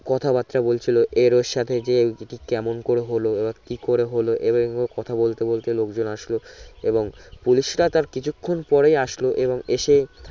কথা বার্তা বলছিলো এর ওর সাথে যে অটি কেমন করে হলও কি করে হলও কথা বলতে বলাতে লোকজন আসলো এবং পুলিশ রা তার কিছু ক্ষনপরেই আসলো এবং এসে